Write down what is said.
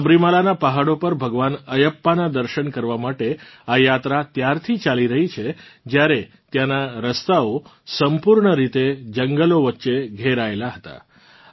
સબરીમાલાનાં પહાડો પર ભગવાન અયપ્પાનાં દર્શન કરવાં માટે આ યાત્રા ત્યારથી ચાલી રહી છે જ્યારે ત્યાંના રસ્તાઓ સંપૂર્ણરીતે જંગલો વચ્ચે ઘેરાયેલાં હતાં